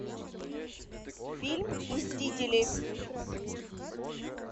фильм мстители